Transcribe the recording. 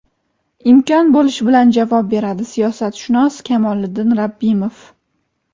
imkon bo‘lishi bilan javob beradi – siyosatshunos Kamoliddin Rabbimov.